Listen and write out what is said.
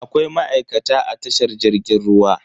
Akwai ma'aikata a tashar jirgin ruwa.